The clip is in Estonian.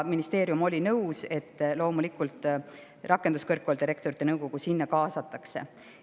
Ministeerium oli nõus, et loomulikult Rakenduskõrgkoolide Rektorite Nõukogu sinna kaasatakse.